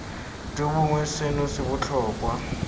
jo bongwe seno se botlhokwa